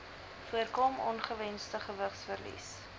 voorkom ongewensde gewigsverlies